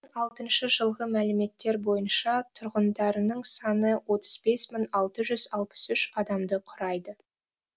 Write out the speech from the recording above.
алтыншы жылғы мәліметтер бойынша тұрғындарының саны отыз бес мың алты жүз алпыс үш адамды құрайды